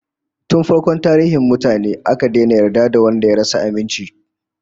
Tun farkon tarihin mutane, aka daina yarda da wanda ya rasa aminci